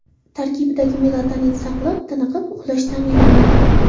Tarkibidagi melatonin sabab tiniqib uxlash ta’minlanadi.